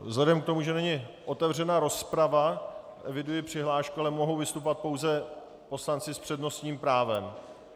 Vzhledem k tomu, že není otevřena rozprava, eviduji přihlášku, ale mohou vystupovat pouze poslanci s přednostním právem.